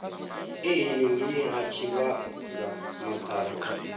e henengei ha tshivhasa makhado